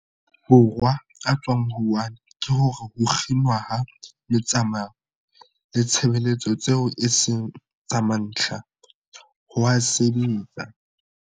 Borwa a tswang Wuhan ke hore ho kginwa ha metsamao le ditshebeletso tseo e seng tsa mantlha, ho a sebetsa.